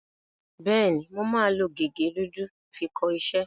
Bẹ́ẹ̀ni, mo máa lo gègé dúdú fi kọ iṣẹ́.